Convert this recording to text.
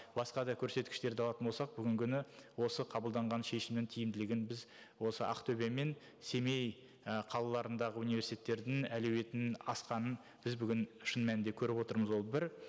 басқа да көрсеткіштерді алатын болсақ бүгінгі күні осы қабылданған шешімнің тиімділігін біз осы ақтөбе мен семей і қалаларындағы университеттердің әлеуетінің асқанын біз бүгін шын мәнінде көріп отырмыз ол бір